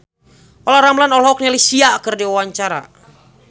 Olla Ramlan olohok ningali Sia keur diwawancara